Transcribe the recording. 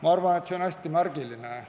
Ma arvan, et see on hästi märgiline.